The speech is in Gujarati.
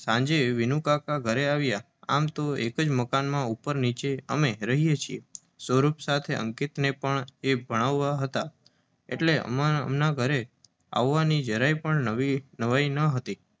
સાંજે વિનુકાકા ઘરે આવ્યા. આમ તો એક જ મકાનમાં ઉપર નીચે અમે રહીએ અને સૌરભ સાથે અંકિતનેય ઘણી વાર એ ભણાવે એટલે એમના આવવાની નવાઈ નહોતી.